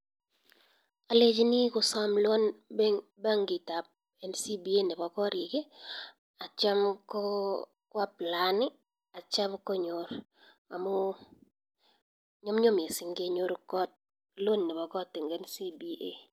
Alechinii kosam loan benkit ab ncba nepo karik atya ko applayan atya konyor amuu nyumnyum missing kenyor loan nepo kot eng ncba